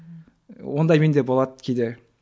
ондай менде болады кейде